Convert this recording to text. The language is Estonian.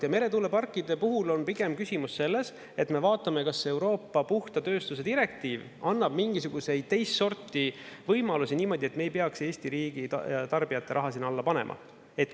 Ja meretuuleparkide puhul on pigem küsimus selles, et me vaatame, kas Euroopa puhta tööstuse direktiiv annab mingisuguseid teist sorti võimalusi niimoodi, et me ei peaks Eesti riigi ja tarbijate raha sinna alla panema.